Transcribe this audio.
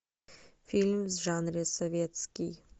фильм в жанре советский